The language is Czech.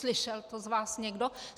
Slyšel to z vás někdo?